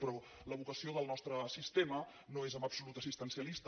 però la vocació del nostre sistema no és en absolut assistencialista